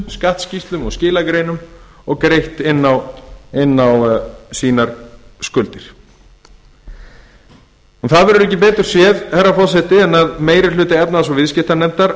skattskýrslum og skilagreinum og greitt inn á skuldir sínar ekki verður betur séð herra forseti en meiri hluti háttvirtrar efnahags og viðskiptanefndar